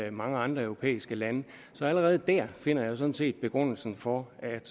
i mange andre europæiske lande så allerede der finder jeg sådan set begrundelsen for at